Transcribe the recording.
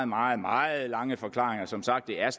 meget meget lange forklaringer som sagt er